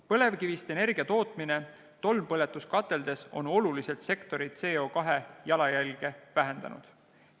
Põlevkivist energia tootmine tolmpõletuskateldes on oluliselt sektori CO2 jalajälge vähendanud.